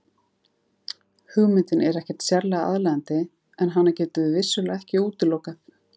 Hugmyndin er ekkert sérlega aðlaðandi en hana getum við vissulega ekki útilokað.